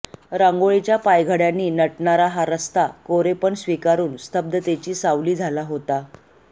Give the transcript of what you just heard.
रांगोळीच्या पायघड्यांनी नटणारा हा रस्ता कोरेपण स्वीकारून स्तब्धतेची सावली झाला होता